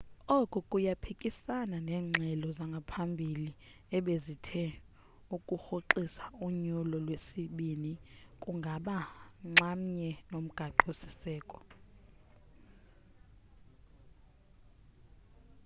oku kuyaphikisana neengxelo zangaphambili ebezithe ukurhoxisa unyulo lwesibini kungaba nxamnye nomgaqo siseko